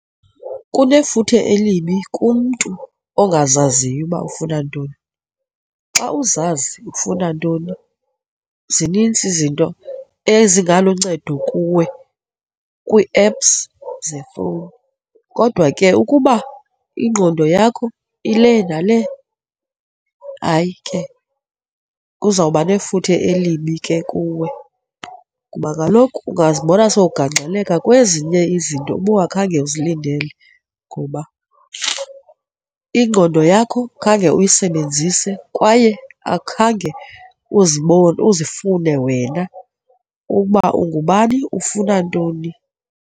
Kunefuthe elibi kumntu ongazaziyo uba ufuna ntoni. Xa uzazi ufuna ntoni, zinintsi izinto ezingaluncedo kuwe kwii-apps zefowuni. Kodwa ke, ukuba ingqondo yakho ile nale, hayi ke kuzawuba nefuthe elibi ke kuwe kuba kaloku ungazibona sowugangxeleka kwezinye izinto ubungakhange uzilindeleyo ngoba ingqondo yakho khange uyisebenzise kwaye akhange uzibone, uzifune wena uba ungubani ufuna ntoni.